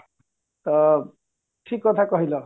ତ ଠିକ କଥା କହିଲ